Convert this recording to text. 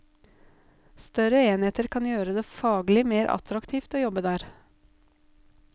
Større enheter kan gjøre det faglig mer attraktivt å jobbe der.